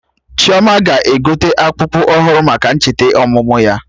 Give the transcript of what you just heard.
Chioma ga-egote akpụkpụ ọhụrụ maka ncheta ọmụmụ ya